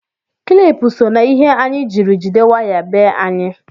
Kilipu so na ihe anyị jiri jide waya be anyị